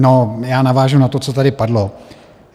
No, já navážu na to, co tady padlo.